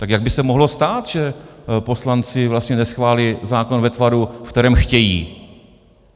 Tak jak by se mohlo stát, že poslanci vlastně neschválí zákon ve tvaru, ve kterém chtějí?